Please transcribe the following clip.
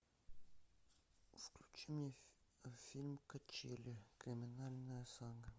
включи мне фильм качели криминальная сага